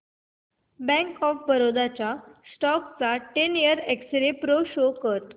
bank of Baroda च्या stock चा ten year x-ray pro show कर